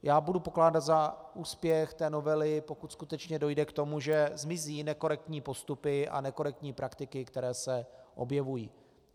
Já budu pokládat za úspěch té novely, pokud skutečně dojde k tomu, že zmizí nekorektní postupy a nekorektní praktiky, které se objevují.